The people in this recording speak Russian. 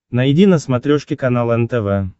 найди на смотрешке канал нтв